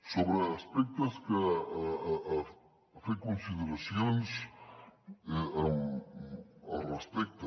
sobre aspectes en què ha fet consideracions al respecte